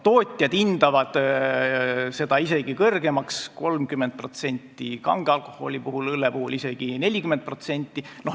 Tootjad hindavad seda isegi suuremaks: 30% kange alkoholi puhul ja õlle puhul isegi 40%.